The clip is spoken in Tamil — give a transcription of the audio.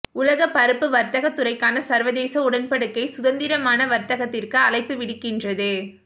உலக பருப்பு வர்த்தகத் துறைக்கான சர்வதேச உடன்படிக்கை சுதந்திரமான வர்த்தகத்திற்கு அழைப்பு விடுக்கின்றது